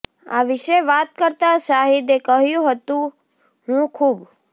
આ વિશે વાત કરતા શાહિદે કહ્યુ હતુ હુ ખૂબ